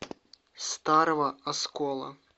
старого оскола